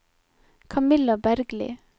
Kamilla Bergli